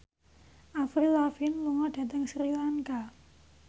Avril Lavigne lunga dhateng Sri Lanka